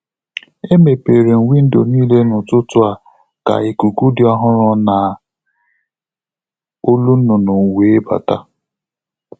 Emepere m windo niile n'ụtụtụ a ka ikuku dị ọhụrụ na olu nnụnụ wee bata.